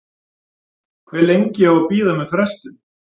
Hve lengi á að bíða með frestun?